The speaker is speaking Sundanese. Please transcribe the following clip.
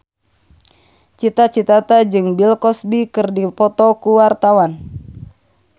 Cita Citata jeung Bill Cosby keur dipoto ku wartawan